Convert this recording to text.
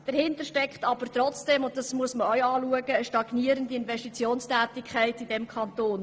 Dahinter steckt jedoch trotzdem eine stagnierende Investitionstätigkeit in diesem Kanton.